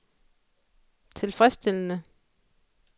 tilfredsstillende